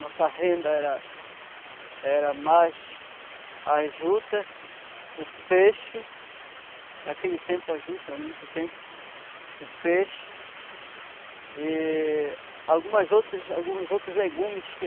Nossa renda era era mais a juta, o peixe, naquele tempo a juta, muito tempo, o peixe e algumas outras, alguns outros legumes que